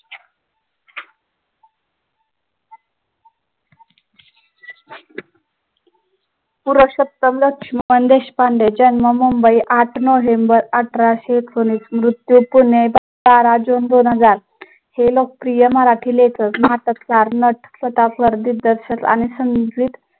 पुरूषोत्तम लक्ष्मण देशपांडे ज्यांना मुंबई आठ नोव्हेंबर अठराशे एकोणवीस मृत्यूचे बारा जून दोन हजार हे लोक प्रिय मराठी लेखक नट दिग्दर्शक आणि